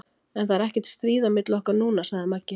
En það er ekkert stríð á milli okkar núna, sagði Maggi.